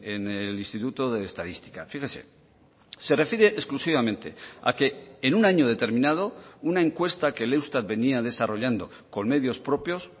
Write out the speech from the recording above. en el instituto de estadística fíjese se refiere exclusivamente a que en un año determinado una encuesta que el eustat venía desarrollando con medios propios